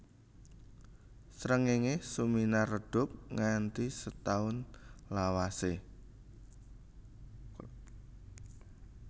Srengéngé suminar redhup nganti setaun lawasé